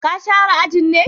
Ka share ajin ne?